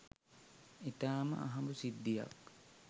ඉතාම අහඹු සිද්ධියක්.